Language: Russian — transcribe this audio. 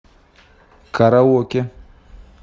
караоке